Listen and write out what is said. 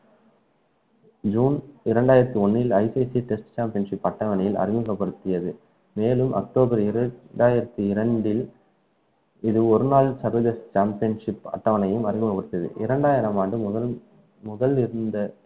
June இரண்டாயிரத்து ஒன்றில் ICC test championship பட்டங்களை அறிமுகப்படுத்தியது மேலும் அக்டோபர் இருபத்தி இரண்டாயிரத்து இரண்டில் இது ஒரு நாள் championship அட்டவணையும் அறிமுகப்படுத்தியது இரண்டாயிரம் ஆண்டு முதல் முதல் இருந்த